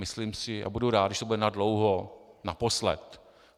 Myslím si a budu rád, když to bude nadlouho naposled.